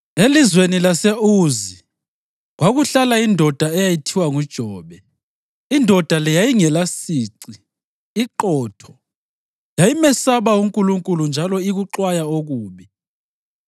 Elizweni lase-Uzi kwakuhlala indoda eyayithiwa nguJobe. Indoda le yayingelasici, iqotho; yayimesaba uNkulunkulu njalo ikuxwaya okubi.